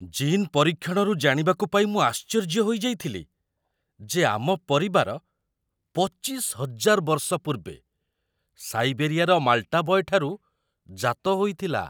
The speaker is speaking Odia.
ଜିନ୍ ପରୀକ୍ଷଣରୁ ଜାଣିବାକୁ ପାଇ ମୁଁ ଆଶ୍ଚର୍ଯ୍ୟ ହୋଇଯାଇଥିଲି ଯେ ଆମ ପରିବାର ୨୫,୦୦୦ ବର୍ଷ ପୂର୍ବେ ସାଇବେରିଆର ମାଲ୍‌ଟା ବୟ୍‌‌ ଠାରୁ ଜାତ ହୋଇଥିଲା |